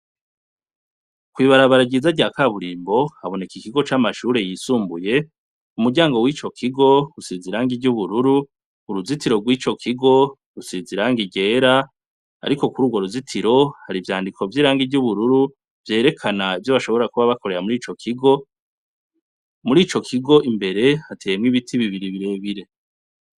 Kwibarabara ryiza rya kaburimbo haboneka ikigo camashure yisumbuye umuryango wico kigo usize irangi ryubururu uruzitiro rwico kigo rusize irangi ryera ariko kurugo ruzitiro harivyandiko vyirangi yubururu vyerekana ivyo bashobora kuba bakorera mwico kigo murico kigo imbere hateyemwo ibiti bibiri